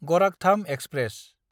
Gorakhdham express